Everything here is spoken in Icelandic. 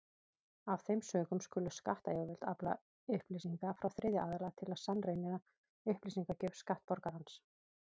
Af þeim sökum skulu skattyfirvöld afla upplýsinga frá þriðja aðila til að sannreyna upplýsingagjöf skattborgarans.